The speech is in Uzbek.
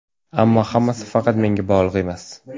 Ammo hammasi faqat menga bog‘liq emas.